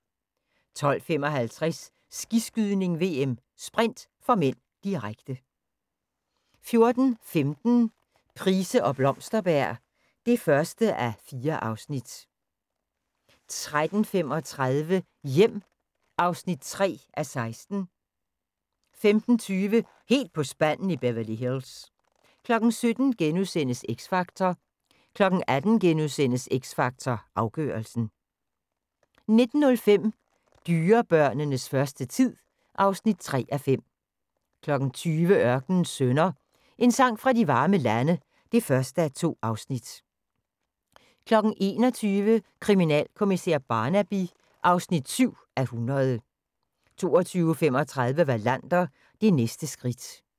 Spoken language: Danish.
12:55: Skiskydning: VM - sprint (m), direkte 14:15: Price og Blomsterberg (1:4) 14:35: Hjem (3:16) 15:20: Helt på spanden i Beverly Hills 17:00: X Factor * 18:00: X Factor Afgørelsen * 19:05: Dyrebørnenes første tid (3:5) 20:00: Ørkenens Sønner – En sang fra de varme lande (1:2) 21:00: Kriminalkommissær Barnaby (70:100) 22:35: Wallander: Det næste skridt